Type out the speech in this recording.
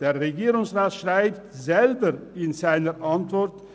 Der Regierungsrat schreibt selber in seiner Antwort: